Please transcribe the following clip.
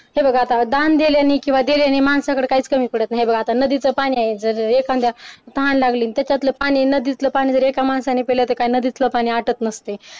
हे बघा दान दिल्याने किंवा दिल्याने माणसाकडे काहीच कमी पडत नाही हे बघ आता नदीचे पाणी आहे जर जर एखाद्या तहान लागली त्याच्यातल पाणी नदीतल पाणी एका माणसाने पिलं तर काय नदीतल पाणी आटत नसते.